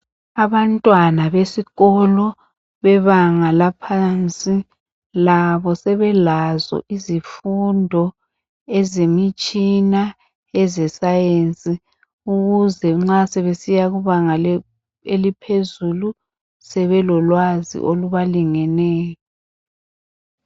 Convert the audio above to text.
Abantwana besikolo bebanga laphansi labo sebelazo izifundo ezemitshina ezescience ukuze nxa sebesiya kubanga laphezulu sebelolwazi olubalingeneyo.